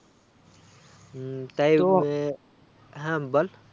হম হ্যাঁ বল